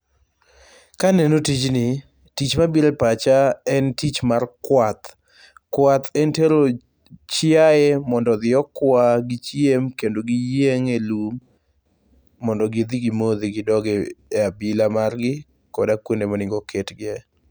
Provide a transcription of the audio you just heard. Kaneno tijni, tich mabiro e pacha en tich mar kwath. Kwath en tero chiae mondo odhi okwa, gichiem kendo giyieng' e lum, mondo gidhi gimodh gidog e abila margi koda kuonde monego ketgie,